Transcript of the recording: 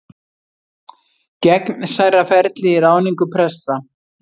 Gegnsærra ferli í ráðningu presta